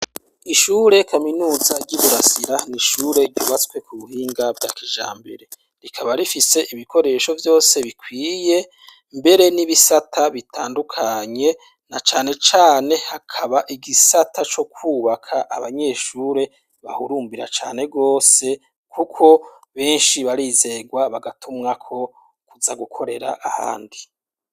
Ishure kaminuza ry'i Burasira ni ishure ryubatswe ku buhinga bwa kijambere. Rikaba rifise ibikoresho vyose bikwiye mbere n'ibisata bitandukanye na cane cane hakaba igisata co kubaka abanyeshure bahurumbira cane rwose kuko benshi barizegwa bagatumwa ko kuza gukorera ahandi.